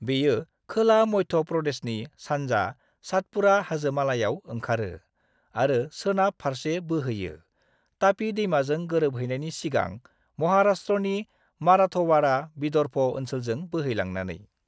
बेयो खोला मध्य प्रदेशनि सानजा सातपुड़ा हाजोमालायाव ओंखारो, आरो सोनाब फारसे बोहोयो, तापी दैमाजों गोरोबहैनायनि सिगां महाराष्ट्रनि मराठवाड़ा, विदर्भ ओनसोलजों बोहैलांनानै।